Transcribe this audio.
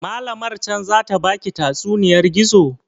Malamar can zata baki tatsuniyar gizo?